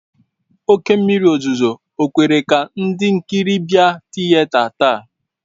Oke mmịrị ozụzụ o kwekwara ka ndị nkịrị bịa tịyeta taa?